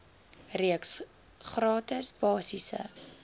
reeks gratis basiese